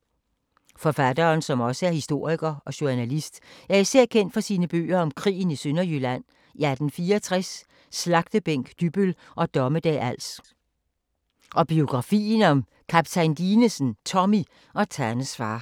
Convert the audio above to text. Forfatteren, som også er historiker og journalist, er især kendt for sine bøger om krigen i Sønderjylland i 1864, Slagtebænk Dybbøl og Dommedag Als og biografien om Kaptajn Dinesen, Tommy og Tannes far.